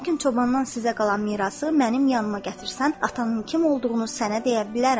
Lakin çobandan sizə qalan mirası mənim yanıma gətirsən, atanın kim olduğunu sənə deyə bilərəm.